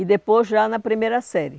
E depois já na primeira série.